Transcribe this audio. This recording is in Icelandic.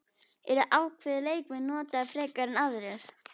Eru ákveðnir leikmenn notaðir frekar en aðrir?